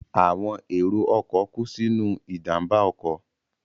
Àwọn èrò ọkọ̀ kú sínú ìjàmbá ọkọ̀